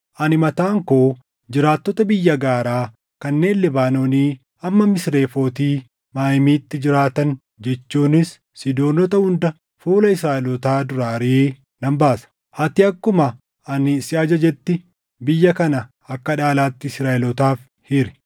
“Ani mataan koo jiraattota biyya gaaraa kanneen Libaanoonii hamma Misrefooti Maayimiitti jiraatan jechuunis Siidoonota hunda fuula Israaʼelootaa duraa ariʼee nan baasa. Ati akkuma ani si ajajetti biyya kana akka dhaalaatti Israaʼelootaaf hiri;